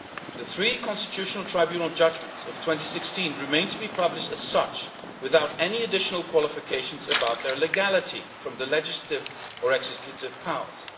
The three Constitutional Tribunal judgments of 2016 remained to be published as such, without any additional qualifications about their legality from the legislative or executive powers.